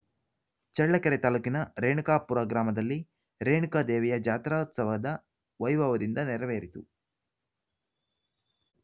ಚಳ್ಳಕೆರೆ ತಾಲೂಕಿನ ರೇಣುಕಾಪುರ ಗ್ರಾಮದಲ್ಲಿ ರೇಣುಕಾದೇವಿಯ ಜಾತ್ರೋತ್ಸವದ ವೈಭವದಿಂದ ನೆರವೇರಿತು